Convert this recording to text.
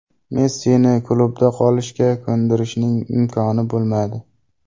Messini klubda qolishga ko‘ndirishning imkoni bo‘lmadi.